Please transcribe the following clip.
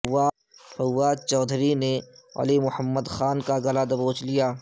فواد چوہدری نے علی محمد خان کاگلا دبوچ لیا